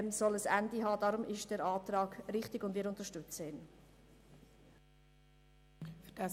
Deshalb ist der Antrag richtig, und wir unterstützen ihn.